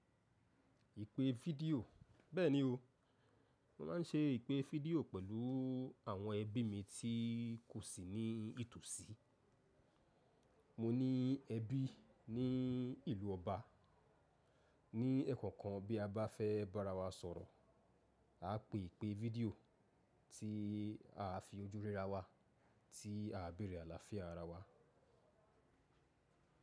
Ìpé fídíò bẹ́ẹ̀ni o, mo máa ń ṣe ìpé fídíò pẹ̀lú àwọn ẹbí mi tí kò sí ní ìtòsí. Mo ní ẹbí ní ìlú ọba, ní ẹ̀ẹ̀konkan bí a bá fẹ́ bá ara wa sọ̀rọ̀, a pè ìpé fídíò tí a fi ojú rí ara wa tí a bẹ̀rẹ̀ àlàáfíà ara wa.